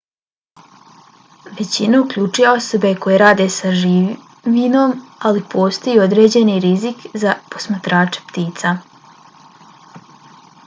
većina uključuje osobe koje rade sa živinom ali postoji i određeni rizik za posmatrače ptica